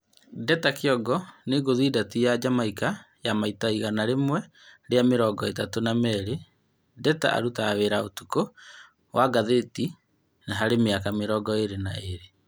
Ndeta Kĩongo nĩ ngũthi Ndati ya Jamaika ya maita igana rĩmwe rĩa mĩrongo-ĩtatũ na merĩ. Ndeta arutaga wĩra ũtukũ wa ngathĩti harĩ mĩaka mĩrongo ĩrĩ na ĩrĩ.